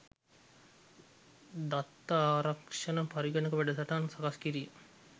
දත්ත ආරක්ෂණ පරගණක වැඩසටහන් සකස්කිරීම.